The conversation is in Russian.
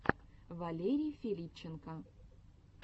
валерий филипченко